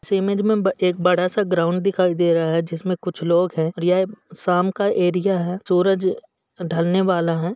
इस इमेज में एक बड़ा सा ग्राउंड दिखाई दे रहा है जिसमे कुछ लोग हैं और ये शाम का एरिया है सूरज ढलने वाला है।